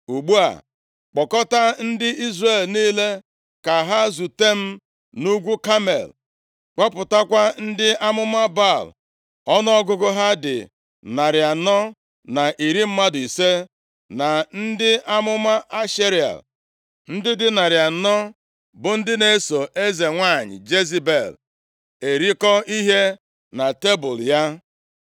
Ugbu a, kpọkọta ndị Izrel niile ka ha zute m nʼugwu Kamel. Kpọpụtakwa ndị amụma Baal ọnụọgụgụ ha dị narị anọ na iri mmadụ ise, na ndị amụma Ashera, ndị dị narị anọ, bụ ndị na-eso eze nwanyị Jezebel erikọ ihe na tebul ya.”